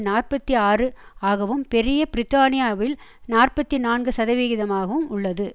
நாற்பத்தி ஆறு ஆகவும் பெரிய பிரித்தானியாவில் நாற்பத்தி நான்கு சதவிகிதமாகவும் உள்ளது